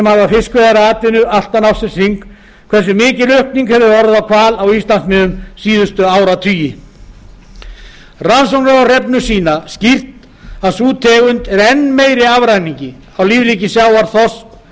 hafa fiskveiðar að atvinnu allan ársins hring hversu mikil aukning hefur orðið á hval á íslandsmiðum síðustu áratugi rannsóknir á hrefnu sýna skýrt að sú tegund er enn meiri afræningi á lífríki sjávar þorski